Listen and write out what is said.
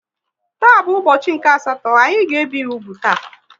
Taa bụ ụbọchị nke asatọ, anyị ga ebi ya úgwù taa